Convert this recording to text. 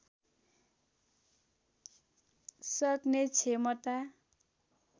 सक्ने क्षमता